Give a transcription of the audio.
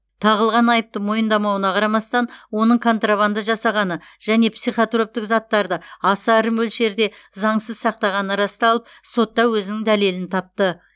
тағылған айыпты мойындамауына қарамастан оның контрабанда жасағаны және психотроптық заттарды аса ірі мөлшерде заңсыз сақтағаны расталып сотта өзінің дәлелін тапты